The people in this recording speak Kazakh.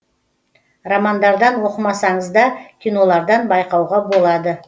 романдардан оқымасаңыз да кинолардан байқауға болады